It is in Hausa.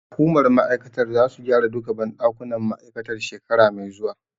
Hukumar ma'aikatar zasu gyara duka banɗakunan ma'aikatar shekara mai zuwa.